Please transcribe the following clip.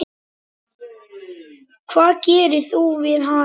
Hvað gerir þú við hana?